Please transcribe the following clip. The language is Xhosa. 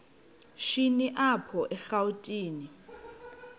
shini apho erawutini